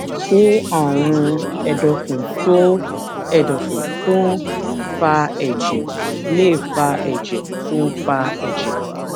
ṣé àrùn èdòfun tó ń èdòfun tó ń fa èjè lè fa èjè tó ń fa èjè